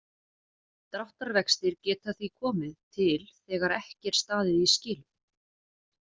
Dráttarvextir geta því komið til þegar ekki er staðið í skilum.